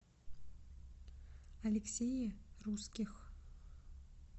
алексее русских